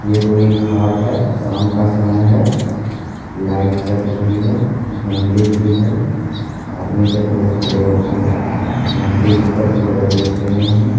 ये कोई घाट है। शाम का समय है। लाइट जल रही है मंदिर भी है। आदमी सब बहुत खड़े होके मंदिर ऊपर की तरह देख रहे हैं।